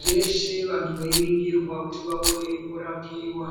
zveshe vanhu veiningirwa kuti vaone kurapiwa.